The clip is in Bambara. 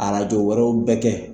wɛrɛw bɛɛ kɛ yen